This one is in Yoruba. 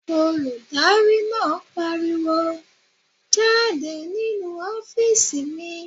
Olùdarí náà pariwo "jáde nínu ọ́fìsì mi!"